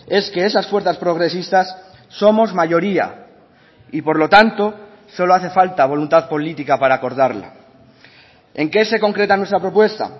es que esas fuerzas progresistas somos mayoría y por lo tanto solo hace falta voluntad política para acordarla en qué se concreta nuestra propuesta